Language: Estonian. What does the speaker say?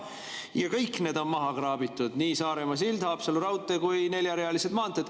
Aga kõik need on maha kraabitud, nii Saaremaa sild, Haapsalu raudtee kui ka neljarealised maanteed.